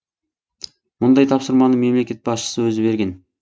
мұндай тапсырманы мемлекет басшысы өзі берген